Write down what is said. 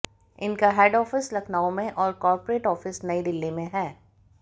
इनका head office Lucknow में और कॉर्पोरेट ऑफिस नई दिल्ली में है